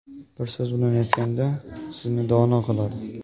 Bir so‘z bilan aytganda, sizni dono qiladi.